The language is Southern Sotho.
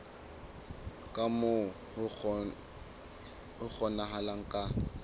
ka moo ho kgonahalang ka